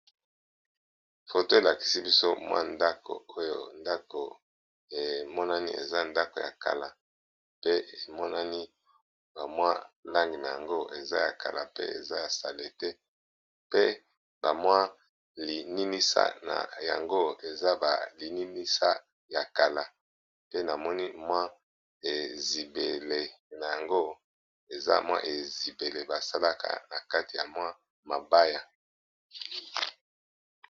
Foto elakisi biso mwa ndako oyo ndako emonani eza ndako ya kala pe emonani bamwa langi na yango eza ya kala pe eza ya sale te pe bamwa lininisa na yango eza balininisa ya kala pe namoni mwa ezibele na yango eza mwa ezibele basalaka na kati ya mwa mabaya.